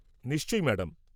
-নিশ্চয়ই ম্যাডাম।